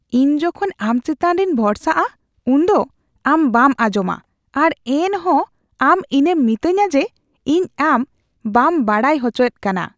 ᱤᱧ ᱡᱚᱠᱷᱚᱱ ᱟᱢ ᱪᱮᱛᱟᱱ ᱨᱮᱧ ᱵᱷᱚᱨᱥᱟᱜᱼᱟ ᱩᱱᱫᱚ ᱟᱢ ᱵᱟᱢ ᱟᱸᱡᱚᱢᱟ ᱟᱨ ᱮᱱᱦᱚᱸ ᱟᱢ ᱤᱧᱮᱢ ᱢᱤᱛᱟᱹᱧᱟ ᱡᱮ ᱤᱧ ᱟᱢ ᱵᱟᱢ ᱵᱟᱰᱟᱭ ᱦᱚᱪᱚᱭᱮᱫ ᱠᱟᱱᱟ ᱾(ᱜᱟᱛᱮ ᱒)